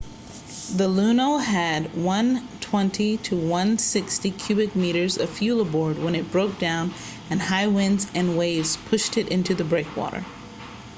the luno had 120-160 cubic metres of fuel aboard when it broke down and high winds and waves pushed it into the breakwater